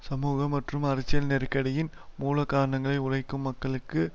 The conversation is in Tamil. சமூக மற்றும் அரசியல் நெருக்கடியின் மூலகாரணங்களை உழைக்கும் மக்களுக்கு